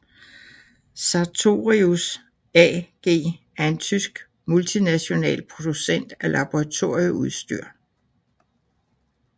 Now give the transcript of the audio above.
Sartorius AG er en tysk multinational producent af laboratorieudstyr